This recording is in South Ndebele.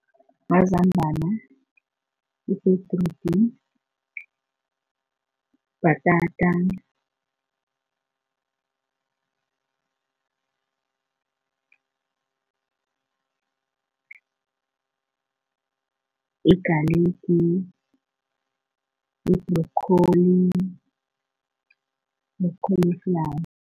Mazambana, ibhedrudi, bhatata, yigaligi, yibhrokholi nekholiflawa.